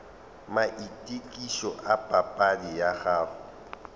maitokišo a papadi ya gago